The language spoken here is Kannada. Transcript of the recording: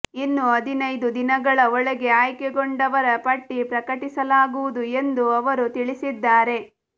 ಇನ್ನು ಹದಿನೈದು ದಿನಗಳ ಒಳಗೆ ಆಯ್ಕೆಗೊಂಡವರ ಪಟ್ಟಿ ಪ್ರಕಟಿಸಲಾಗುವುದು ಎಂದು ಅವರು ತಿಳಿಸಿದ್ದಾರೆ